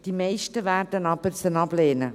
die meisten werden diese aber ablehnen.